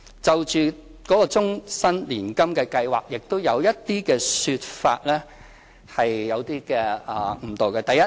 就終身年金計劃，亦有一些說法有誤導。